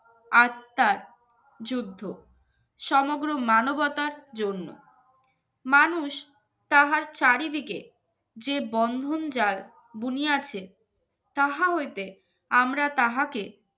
আত্মার যুদ্ধ সমগ্র মানবতার জন্য মানুষ তাহার চারিদিকে যে বন্ধন যার বুনি আছে তাহা হইতে আমরা তাহাকে